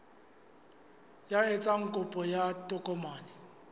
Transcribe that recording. ya etsang kopo ya tokomane